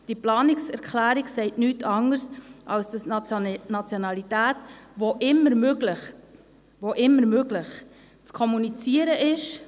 Diese Planungserklärung sagt nichts anderes, als dass die Nationalität wenn immer möglich zu kommunizieren ist.